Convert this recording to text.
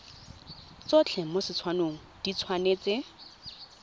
tsotlhe mo letshwaong di tshwanetse